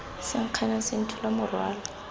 se nkganang se nthola morwalo